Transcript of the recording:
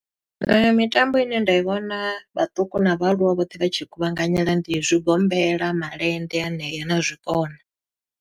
Mitambo ine nda i vhona, vhaṱuku na vhaaluwa vhoṱhe vha tshi i kuvhanganyela ndi zwigombela, malende hanea, na zwikona.